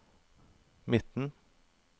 midten